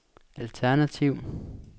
alternativ